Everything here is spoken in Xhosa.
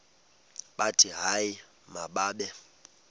bathi hayi mababe